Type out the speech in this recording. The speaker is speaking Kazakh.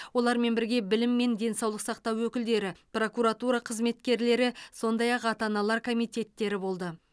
олармен бірге білім мен денсаулық сақтау өкілдері прокуратура қызметкерлері сондай ақ ата аналар комитеттері болды